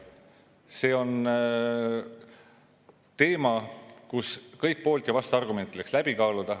See on teema, kus kõik poolt- ja vastuargumendid tuleks läbi kaaluda.